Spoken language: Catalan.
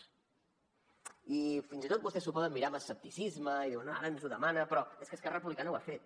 i fins i tot vostès s’ho poden mirar amb escepticisme i dir bé ara ens ho demana però és que esquerra republicana ho ha fet